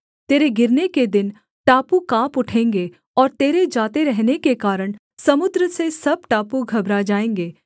तेरे गिरने के दिन टापू काँप उठेंगे और तेरे जाते रहने के कारण समुद्र से सब टापू घबरा जाएँगे